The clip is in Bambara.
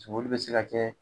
Soboli bɛ se ka kɛ